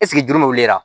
juru bɛ wuli